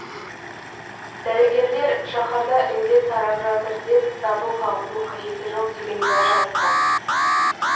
дәрігерлер шаһарда індет тарап жатыр деп дабыл қағудың қажеті жоқ деген уәж айтты